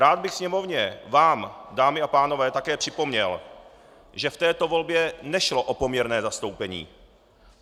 Rád bych Sněmovně, vám, dámy a pánové, také připomněl, že v této volbě nešlo o poměrné zastoupení.